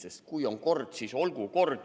Sest kui on kord, siis olgu kord.